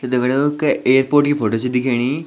तो दगड़ियों कै एअरपोर्ट की फोटो च दिखेणी।